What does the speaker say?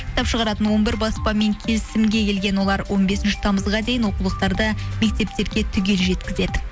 кітап шығаратын он бір баспамен келісімге келген олар он бесінші тамызға дейін оқулықтарды мектептерге түгел жеткізеді